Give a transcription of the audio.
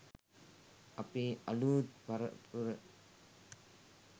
අපේ අලූත් පරපුර